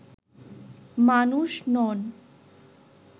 মানুষ নন